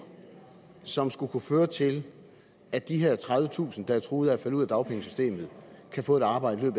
som skulle kunne føre til at de her tredivetusind der er truet af at falde ud af dagpengesystemet kan få et arbejde i